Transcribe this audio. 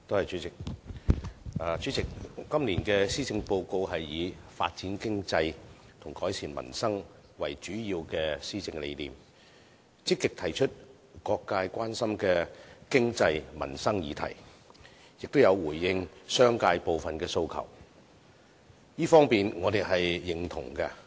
主席，今年的施政報告以"發展經濟"和"改善民生"為主要施政理念，積極提出各界關心的經濟民生議題，亦有回應商界部分的訴求，這方面我們是認同的。